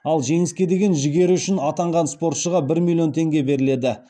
ал жеңіске деген жігері үшін атанған спортшыға бір миллион теңге беріледі